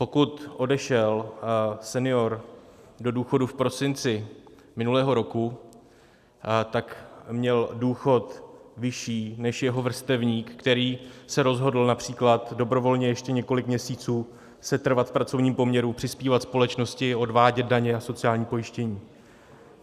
Pokud odešel senior do důchodu v prosinci minulého roku, tak měl důchod vyšší než jeho vrstevník, který se rozhodl například dobrovolně ještě několik měsíců setrvat v pracovním poměru, přispívat společnosti, odvádět daně a sociální pojištění.